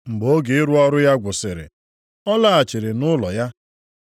Mgbe oge ịrụ ọrụ ya gwụsịrị, ọ laghachiri nʼụlọ ya.